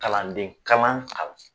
Kalanden kalan kalan